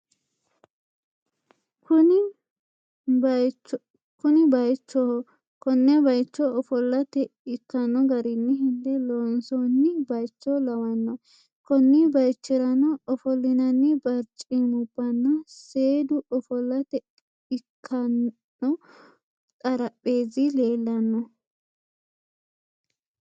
Kuni baaychoho konne baaycho ofollate ikkanno garinni hende loonsoonni baaycho lawanno konni baaychirano ofollinanni barcimubbanna seedu ofallate ikkanno xarapheezzi leellanno.